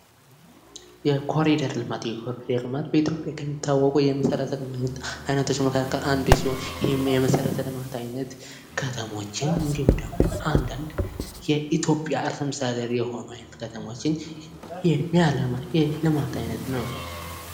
የኮሊደር ልማት በኢትዮጵያ ከሚታወቀው የመሠረተ ልማት አይነቶች መካከል አንዱ ሲሆን፤ ይህም የመሠረተ ልማት ዓይነት ከተሞችን እንዲሁም ደግሞ አንዳንድ የኢትዮጵያ ርዕሰ መስተዳደር የሆኑት አይነት ከተሞችን የሚያለማ የልማት አይነት ነው።